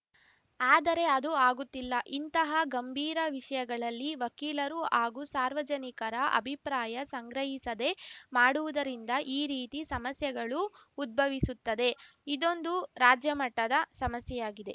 ಆದರೆ ಅದು ಆಗುತ್ತಿಲ್ಲ ಇಂತಹ ಗಂಭೀರ ವಿಷಯಗಳಲ್ಲಿ ವಕೀಲರು ಹಾಗೂ ಸಾರ್ವಜನಿಕರ ಅಭಿಪ್ರಾಯ ಸಂಗ್ರಹಿಸದೇ ಮಾಡುವುದರಿಂದ ಈ ರೀತಿ ಸಮಸ್ಯೆಗಳು ಉದ್ಭವಿಸುತ್ತದೆ ಇದೊಂದು ರಾಜ್ಯಮಟ್ಟದ ಸಮಸ್ಯೆಯಾಗಿದೆ